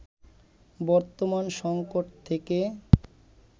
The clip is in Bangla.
বর্তমান সংকট থেকে